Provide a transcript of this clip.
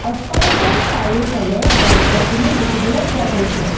অট্টালিকাৰ চাৰিওফালে গছ গছনি দেখিবলৈ পোৱা গৈছে।